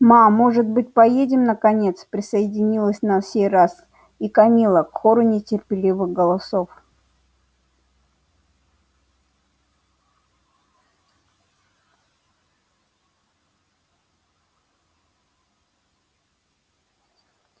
ма может быть поедем наконец присоединилась на сей раз и камилла к хору нетерпеливых голосов